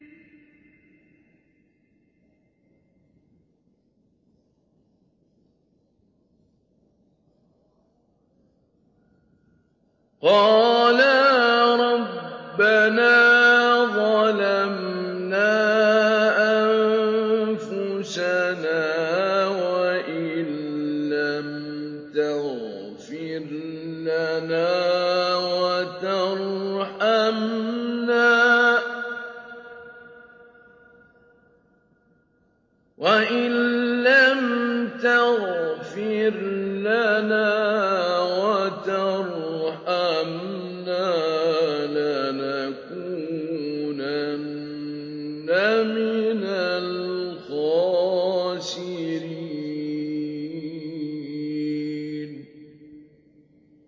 قَالَا رَبَّنَا ظَلَمْنَا أَنفُسَنَا وَإِن لَّمْ تَغْفِرْ لَنَا وَتَرْحَمْنَا لَنَكُونَنَّ مِنَ الْخَاسِرِينَ